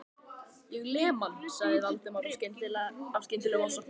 Ég lem hann. sagði Valdimar af skyndilegum ofsa